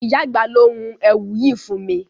Ìyá àgbà ló hun èwù yìí fún mi.